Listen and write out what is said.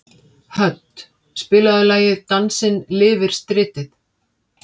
Hödd, spilaðu lagið „Dansinn lifir stritið“.